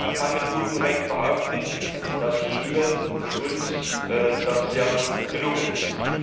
Man kann mit gutem Recht behaupten, dass Ihnen und uns das sehr gut gelungen ist.